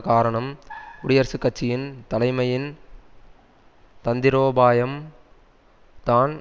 காரணம் குடியரசுக் கட்சியின் தலைமையின் தந்திரோபாயம் தான்